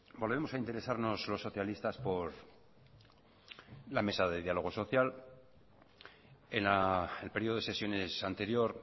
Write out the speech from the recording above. volvemos a interesarnos los socialistas por la mesa de diálogo social en el periodo de sesiones anterior